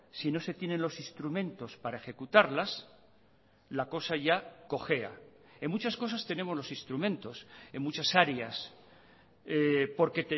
si no se tienen los instrumentos para ejecutarlas la cosa ya cojea en muchas cosas tenemos los instrumentos en muchas áreas porque